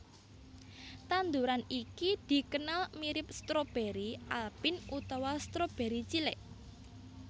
Tanduran iki dikenal mirip stroberi alpin utawa stroberi cilik